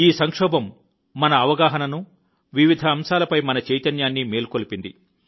ఈ సంక్షోభం మన అవగాహనను వివిధ అంశాలపై మన చైతన్యాన్ని మేల్కొల్పింది